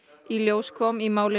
í ljós kom í máli